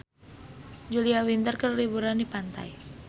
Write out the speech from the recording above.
Julia Winter keur liburan di pantai